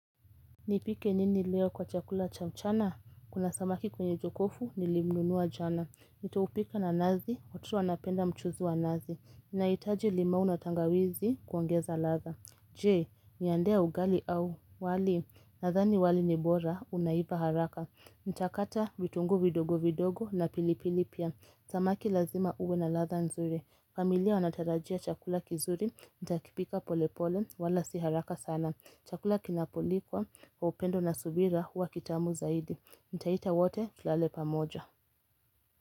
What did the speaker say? Nipike nini leo kwa chakula cha mchana? Kuna samaki kwenye jokofu nilimnunua jana. Nitaupika na nazi, watoto wanapenda mchuzu wa nazi. Nahitaji limau na tangawizi kuongeza ladha. Je, niandae ugali au wali? Nadhani wali ni bora unaiva haraka. Ntakata vitungu vidogo vidogo na pilipili pia. Samaki lazima uwe na ladha nzuri. Familia wanatarajia chakula kizuri. Ntakipika polepole wala si haraka sana. Chakula kinapolikwa kwa upendo na subira huwa kitamu zaidi. Ntaita wote tulale pamoja.